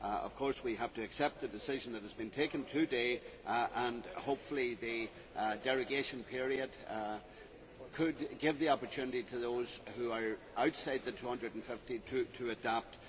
Of course, we have to accept the decision that has been taken today and, hopefully, the derogation period could give the opportunity to those who are outside the 250 kilometre limit to adapt.